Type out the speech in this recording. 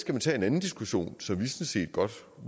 man tage en anden diskussion som vi sådan set godt